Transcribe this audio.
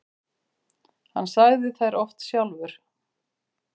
Hann sagði þær oft sjálfur.